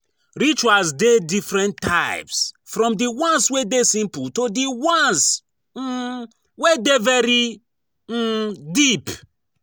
Rituals de different types from di ones wey de simple to di ones [um]wey de very um deep